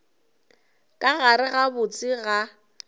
ka gare ga botse ga